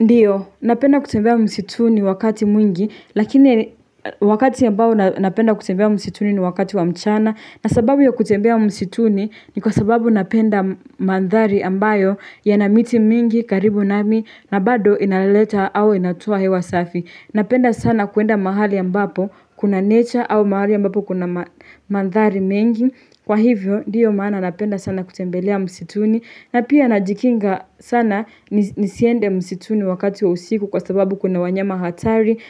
Ndiyo, napenda kutembea msituni wakati mwingi, lakini wakati ambao napenda kutembea msituni ni wakati wa mchana. Na sababu ya kutembea msituni ni kwa sababu napenda mandhari ambayo ya na miti mingi, karibu nami, na bado inaleleta au inatoa hewa safi. Napenda sana kuenda mahali ambapo, kuna nature au mahali ambapo kuna mandhari mengi. Kwa hivyo ndiyo maana napenda sana kutembelea msituni na pia najikinga sana nisiende msituni wakati wa usiku kwa sababu kuna wanyama hatari